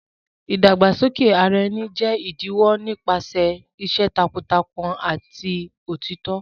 Ìdàgbàsókè ara ẹni jẹ́ ìdíwọ́ nípasẹ̀ iṣẹ́ takuntakun àti òtítọ́.